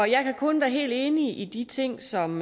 jeg kan kun være helt enig i de ting som